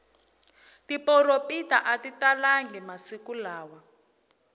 tiporopita atitalangi masiku lawa